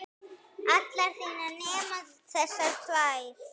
allar þínar nema þessar tvær.